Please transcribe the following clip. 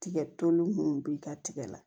Tigɛ toli munnu b'i ka tigɛ la